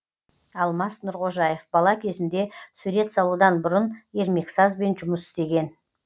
алмас нұрғожаев бала кезінде сурет салудан бұрын ермексазбен жұмыс істеген